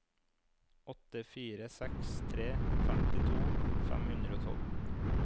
åtte fire seks tre femtito fem hundre og tolv